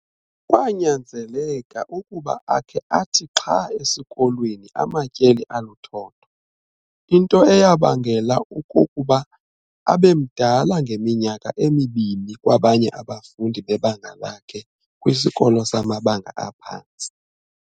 Kwanyanzeleka ukuba akhe athi xha esikolweni amatyeli aluthotho, into eyabangela ukokokuba abemdala ngeminyaka emibini kwabanye abafundi bebanga lakhe kwisikolo samabanga aphantsi.